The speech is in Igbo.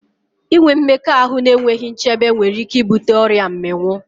Inwe mmekọahụ n'enweghi nchebe nwere ike i bute ọrịa mmịnwụ